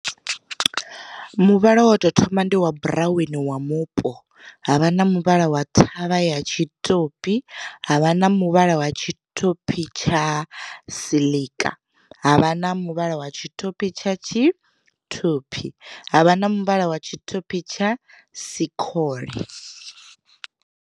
Muvhala wa tou thoma ndi wa buraweni wa mupo, havha na muvhala wa thavha ya tshitopi, havha na muvhala wa tshitopi tsha siḽika, havha na muvhala wa tshitopi tsha tshitophi, havha na muvhala wa tshitopi tsha sikhole.